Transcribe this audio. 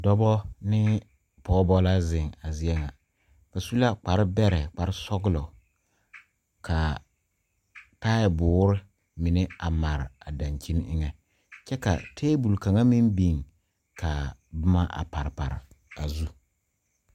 Dɔbɔ nee pɔɔbɔ la zeŋ a zie ŋa ba su la kparre bɛrɛ kpare sɔglɔ kaa taiboore mine a mare a daŋkyini eŋɛ kyɛ ka tabol kaŋa meŋ biŋ kaa bomma a pare pare a zu.